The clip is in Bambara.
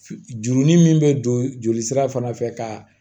Jurunin min be don joli sira fana fɛ ka